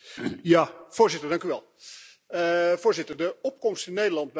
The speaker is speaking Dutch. De opkomst in Nederland bij de Europese verkiezingen in 2014 was